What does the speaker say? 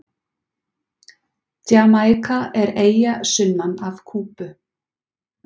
Jamaíka er eyja sunnan af Kúbu.